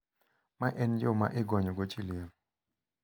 Ma en yo ma igonyogo chi liel.